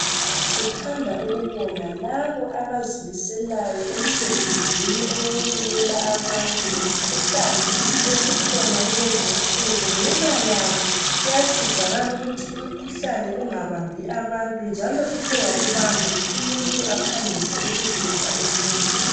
Sithanda ukubonga laba abazimiselayo emsebenzini owokubikela abantu ngemikhuhlane esikhona kulezinsuku ngenxa yabo kuyasizakala ukuthi umkhuhlane ungabambi abantu njalo suthe wakubamba umuntu aphangise ukuzuza usizo.